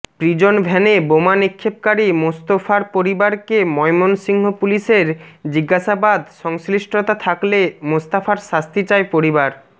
prison ভ্যানে বোমা নিক্ষেপকারী মোস্তফার পরিবারকে ময়মনসিংহ পুলিশের জিঞ্জাসাবাদ সংশ্লিষ্টতা থাকলে মোস্তফার শাস্তি চায় পরিবার